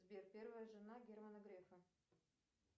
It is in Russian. сбер первая жена германа грефа